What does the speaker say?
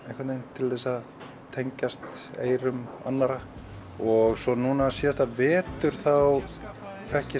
til þess að tengjast eyrum annarra og svo núna síðasta vetur þá fékk ég